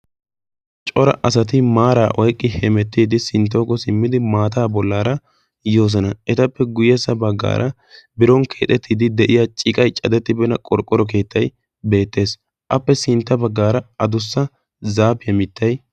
Cora asati maaraa oiqqi hemettiidi sinttooko simmidi maataa bollaara yoosona etappe guyyessa baggaara biron keexettiiddi de'iya ciqai cadettibena qorqqoro keettai beettees appe sintta baggaara adussa zaapiyaa mittay